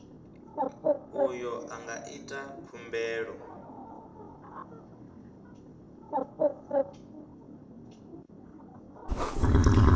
uyo a nga ita khumbelo